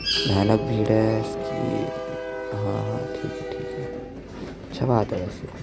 भयानक भीड़ है इसकी ह ह ठीक हैं ठीक हैं अच्छा बात है वैसे--